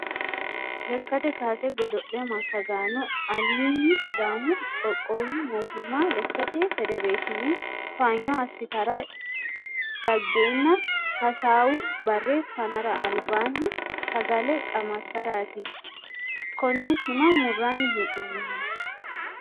Lekkate kaase godo'le massagaano alini sidaamu qoqqowu mootimma lekkate federeshine towaanyo assittara dagenna hasaawu bare fanara albaani sagale qamansarati kone tima murani hee'nonihu.